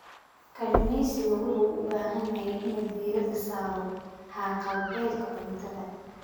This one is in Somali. Kalluumeysigu wuxuu u baahan yahay inuu diiradda saaro haqab-beelka cuntada.